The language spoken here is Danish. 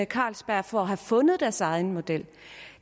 carlsberg for at have fundet deres egen model